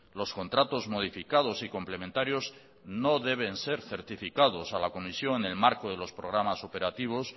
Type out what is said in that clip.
los contratos modificados y complementarios no deben ser certificados a la comisión en el marco de los programas operativos